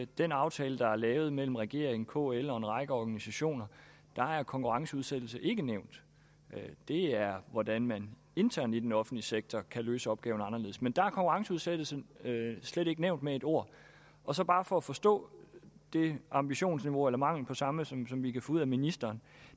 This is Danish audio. den aftale der er lavet mellem regeringen kl og en række organisationer er konkurrenceudsættelse ikke nævnt det er hvordan man internt i den offentlige sektor kan løse opgaverne anderledes men der er konkurrenceudsættelse slet ikke nævnt med ét ord og så bare for at forstå det ambitionsniveau eller mangel på samme som vi kan få ud af ministeren